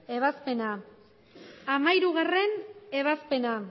ebazpena hamairugarrena ebazpena